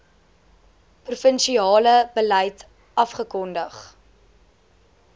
provinsiale beleid afgekondig